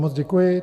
Moc děkuji.